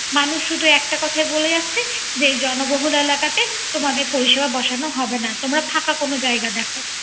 মানুষ শুধু একটা কথা বলে যাচ্ছে। যে জনবহুল এলাকাতে তোমাদের পরিসেবা বসানো হবে না। তোমরা ফাকা কোন জায়গা দেশ